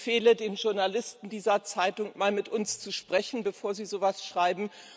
Ich empfehle den Journalisten dieser Zeitung, mal mit uns zu sprechen, bevor sie so etwas schreiben.